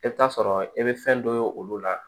I bɛ t'a sɔrɔ i bɛ fɛn dɔ ye olu la